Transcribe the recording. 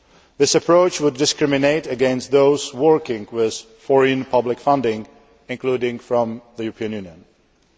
That approach would discriminate against those working with foreign public funding, including from the EU.